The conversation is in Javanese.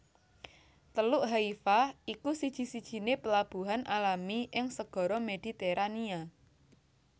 Teluk Haifa iku siji sijiné plabuhan alami ing Segara Mediterania